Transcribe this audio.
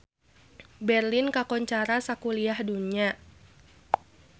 Berlin kakoncara sakuliah dunya